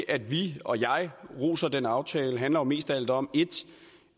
at vi og jeg roser den aftale handler jo mest af alt om